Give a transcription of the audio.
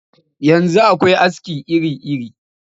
Yanzu akwai aski iri-iri